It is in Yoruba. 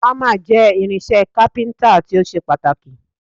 Ámà jẹ́ irinṣẹ́ kápíntà tó ṣe pàtàkì